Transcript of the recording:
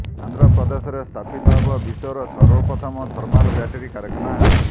ଆନ୍ଧ୍ରପ୍ରଦେଶରେ ସ୍ଥାପିତ ହେବ ବିଶ୍ୱର ସର୍ବପ୍ରଥମ ଥର୍ମାଲ ବ୍ୟାଟେରି କାରଖାନା